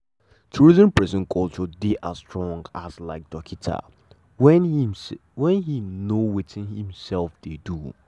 to reason persin culture dey as strong um like dorkita wen um know wetin e um dey do.